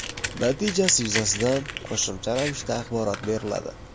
Natijasi yuzasidan qo‘shimcha ravishda axborot beriladi.